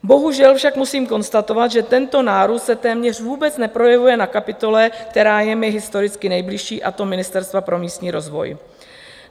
Bohužel však musím konstatovat, že tento nárůst se téměř vůbec neprojevuje na kapitole, která je mi historicky nejbližší, a to Ministerstva pro místní rozvoj.